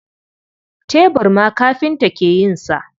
Tebur ma kafinta ke yin sa.